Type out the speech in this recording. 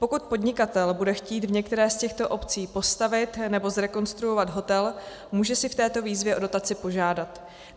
Pokud podnikatel bude chtít v některé z těchto obcí postavit nebo zrekonstruovat hotel, může si v této výzvě o dotaci požádat.